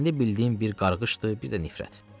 İndi bildiyim bir qarğışdır, bir də nifrət.